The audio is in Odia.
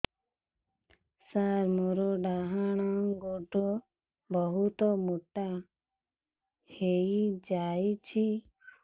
ସାର ମୋର ଡାହାଣ ଗୋଡୋ ବହୁତ ମୋଟା ହେଇଯାଇଛି